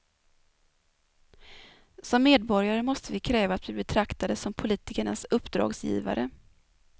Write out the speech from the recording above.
Som medborgare måste vi kräva att bli betraktade som politikernas uppdragsgivare.